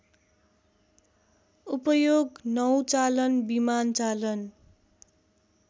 उपयोग नौचालन विमानचालन